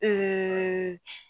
E